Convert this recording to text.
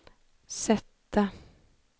sätta